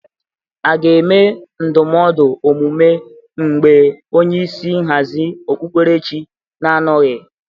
A ga-enwe ndọmọdụ omume mgbe onyeisi nhazị okpuperechị na-anọghị?